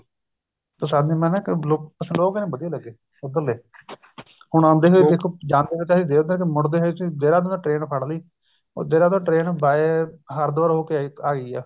ਪਰ ਸਾਨੇ ਬੱਸ ਲੋਕ ਲੋਕ ਨੀ ਵਧੀਆ ਲੱਗੇ ਉੱਧਰਲੇ ਹੁਣ ਆਉਂਦੇ ਜਾਂਦੇ ਹੋਏ ਅਸੀਂ ਮੁੜਦੇ ਹੋਏ ਦੇਹਰਾਦੂਨ ਤੋਂ train ਫੜ ਲਈ ਦੇਹਰਾਦੂਨ ਤੋਂ train by ਹਰੀਦਵਾਰ ਹੋ ਕੇ ਆਈ ਆ